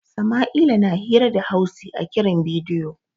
Sama'ila na hira da Hausi a kiran bidiyo.